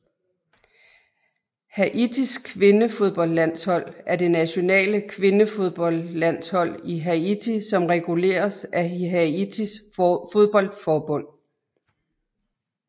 Haitis kvindefodboldlandshold er det nationale kvindefodboldlandshold i Haiti som reguleres af Haitis fodboldforbund